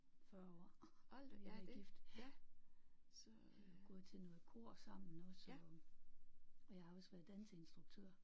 40 år har vi været gift ja. Gået til noget kor sammen også og og jeg har også været danseinstruktør